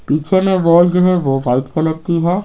पीछे में बॉल जो है वो वाइट कलर की है।